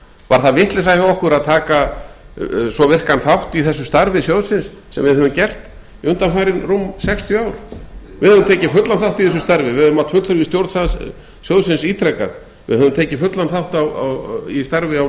var það vitleysa hjá okkur að taka svo virkan þátt í þessu starfi sjóðsins sem við höfum gert undanfarin rúm sextíu ár við höfum tekið fullan þátt í þessu starfi við höfum átt fundi með stjórn sjóðsins ítrekað við höfum tekið fullan þátt í starfi á